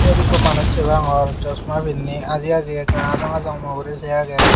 yot ikko manuch se pangor chasma pinney aji aji ekka ajong ajong mo uri sei agey.